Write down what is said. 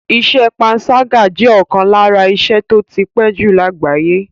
Iṣẹ́ panṣágà jẹ́ ọ̀kan lára iṣẹ́ tó ti pé jù lágbàáyé.